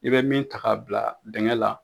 I bɛ min ta ka bila dinkɛ la